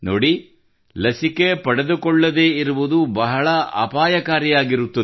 ನೋಡಿ ಲಸಿಕೆ ಪಡೆದುಕೊಳ್ಳದೇ ಇರುವುದು ಬಹಳ ಅಪಾಯಕಾರಿಯಾಗಿರುತ್ತದೆ